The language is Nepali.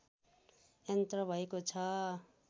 यन्त्र भएको छ